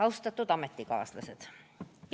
Austatud ametikaaslased!